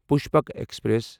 Pushpak express